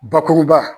Bakuruba